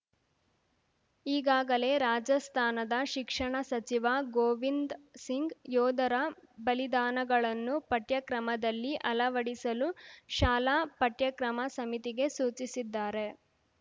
ಈಗಾಗಲೇ ರಾಜಸ್ಥಾನದ ಶಿಕ್ಷಣ ಸಚಿವ ಗೋವಿಂದ್ ಸಿಂಗ್‌ ಯೋಧರ ಬಲಿದಾನಗಳನ್ನು ಪಠ್ಯಕ್ರಮದಲ್ಲಿ ಅಳವಡಿಸಲು ಶಾಲಾ ಪಠ್ಯಕ್ರಮ ಸಮಿತಿಗೆ ಸೂಚಿಸಿದ್ದಾರೆ